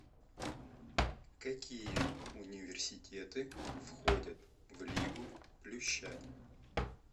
какие университеты входят в лигу плюща